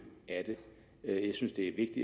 af det jeg jeg synes det